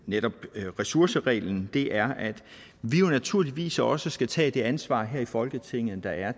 netop ressourcereglen er at vi jo naturligvis også skal tage det ansvar her i folketinget der er